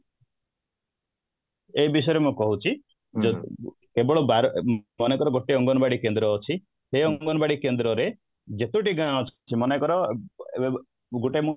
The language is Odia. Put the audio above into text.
ଏଇ ବିଷୟରେ ମୁଁ କହୁଛି ଦେଖନ୍ତୁ କେବଳ ବାର ମନେକର ଗୋଟେ ଅଙ୍ଗନବାଡି କେନ୍ଦ୍ର ଅଛି ସେ ଅଙ୍ଗନବାଡି କେନ୍ଦ୍ର ରେ ଯେତୋଟି ଗାଁ ଅଛି ମନେକର ଗୋଟେ